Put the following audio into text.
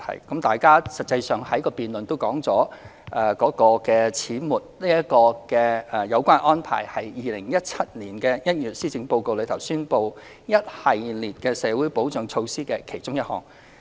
有關把長者綜援合資格年齡由60歲改為65歲的安排，是在2017年1月施政報告宣布的一系列社會保障措施的其中一項。